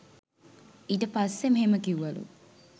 ඊට පස්සෙ මෙහෙම කිව්වලු.